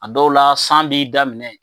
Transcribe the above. A dɔw la san b'i daminɛ.